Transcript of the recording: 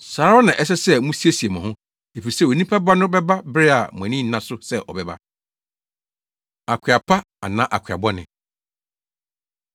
saa ara na ɛsɛ sɛ musiesie mo ho, efisɛ Onipa Ba no bɛba bere a mo ani nna so sɛ ɔbɛba. Akoa Pa Anaa Akoa Bɔne